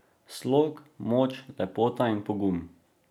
Slog, moč, lepota in pogum.